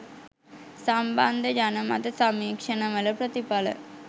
සම්බන්ධ ජනමත සමීක්ෂණවල ප්‍රතිඵල